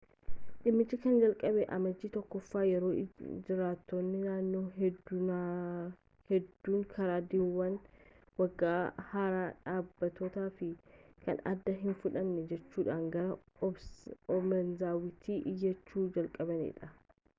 dhimmichi kan jalqabe amajjii 1ffaa yeroo jiraattonni naannoo hedduunkaardiiwwan waggaa haaraa dhaabbatoo fi kan aadaa hin fudhanne jechuudhaan gara obanazawatti iyyachuu jalqabanidha